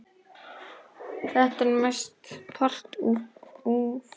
Þetta er mestan part ufsi